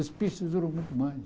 As pistas duram muito mais.